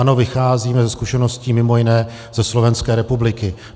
Ano, vycházíme ze zkušeností mimo jiné ze Slovenské republiky.